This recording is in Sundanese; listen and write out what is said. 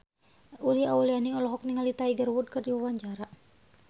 Uli Auliani olohok ningali Tiger Wood keur diwawancara